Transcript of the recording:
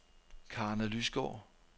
Karna Lysgaard